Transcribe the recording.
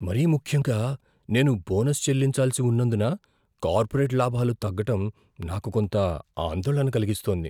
మరీ ముఖ్యంగా నేను బోనస్ చెల్లించాల్సి ఉన్నందున కార్పొరేట్ లాభాలు తగ్గటం నాకు కొంత ఆందోళన కలిగిస్తోంది.